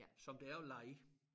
Som det er at leje